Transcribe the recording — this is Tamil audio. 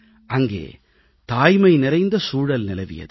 அங்கே தாய்மை நிறைந்த சூழல் நிலவியது